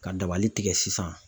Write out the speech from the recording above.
Ka dabali tigɛ sisan.